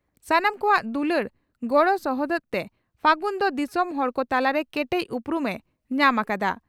ᱥᱟᱱᱟᱢ ᱠᱚᱣᱟᱜ ᱫᱩᱞᱟᱹᱲ ᱜᱚᱬᱚ ᱥᱚᱦᱚᱫᱛᱮ ᱯᱷᱟᱹᱜᱩᱱ ᱫᱚ ᱫᱤᱥᱚᱢ ᱦᱚᱲ ᱠᱚ ᱛᱟᱞᱟᱨᱮ ᱠᱮᱴᱮᱡ ᱩᱯᱨᱩᱢ ᱮ ᱧᱟᱢ ᱟᱠᱟᱫᱟ ᱾